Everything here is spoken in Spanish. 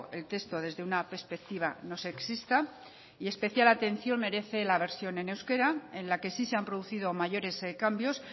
el texto desde una perspectiva no sexista y especial atención merece la versión en euskera en la que sí se han producido mayores cambios